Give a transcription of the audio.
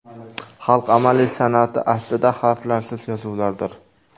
Xalq amaliy san’ati aslida harflarsiz yozuvlardir.